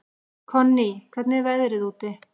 Konný, hvernig er veðrið úti?